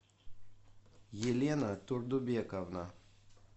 елена турдубековна